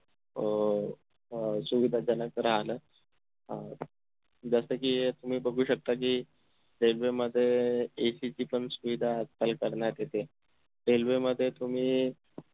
अह सुविधाजनक तर आलंच अं जस कि अह तुम्ही बघू शकता कि railway मध्ये AC ची पण सुविधा आजकाल करण्यात येते railway मध्ये तुम्ही